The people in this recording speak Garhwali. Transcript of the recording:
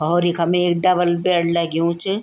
और इखम एक डबल बेड लग्युं च।